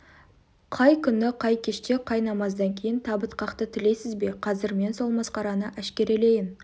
қай күні қай кеште қай намаздан кейін табыт қақты тілейсіз бе қазір мен сол масқараны әшкерелейін